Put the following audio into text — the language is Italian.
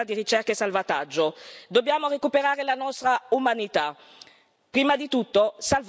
Dobbiamo recuperare la nostra umanità e prima di tutto salvare le vite umane.